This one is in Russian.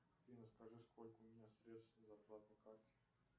афина скажи сколько у меня средств на зарплатной карте